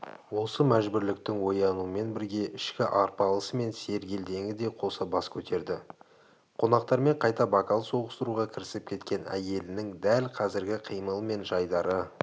осы мәжбүрліктің оянуымен бірге ішкі арпалысы мен сергелдеңі де қоса бас көтерді қонақтармен қайта бокал соғыстыруға кірісіп кеткен әйелінің дәл қазіргі қимылы мен жайдары